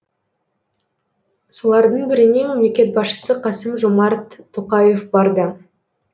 солардың біріне мемлекет басшысы қасым жомарт тоқаев барды